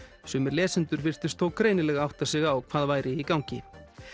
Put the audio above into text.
sumir lesendur virtust þó greinilega átta sig á hvað væri í gangi